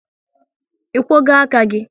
Ị kwogo aka gị?